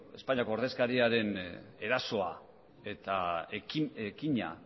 espainiako ordezkaria den erasoa eta ekina